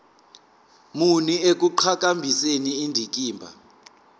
muni ekuqhakambiseni indikimba